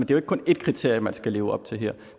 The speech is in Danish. jo ikke kun ét kriterie man skal leve op til her